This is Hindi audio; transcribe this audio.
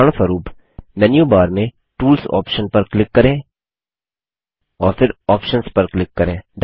उदाहरणस्वरुप मेन्यू बार में टूल्स ऑप्शन पर क्लिक करें और फिर आप्शंस पर क्लिक करें